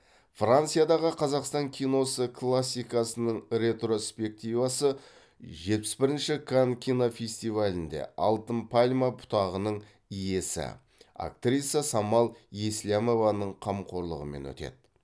франциядағы қазақстан киносы классикасының ретроспективасы жетпіс бірінші канн кинофестивалінде алтын пальма бұтағының иесі актриса самал еслямованың қамқорлығымен өтеді